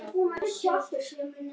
Fer eftir því hver svarar.